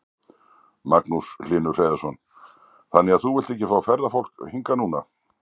Magnús Hlynur Hreiðarsson: Þannig að þú vilt ekki fá ferðafólk hingað núna?